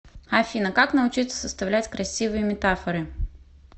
афина как научиться составлять красивые метафоры